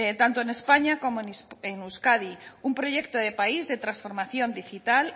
tanto en españa como en euskadi un proyecto de país de transformación digital